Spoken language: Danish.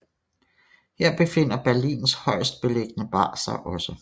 Her befinder Berlins højestbeliggende bar sig også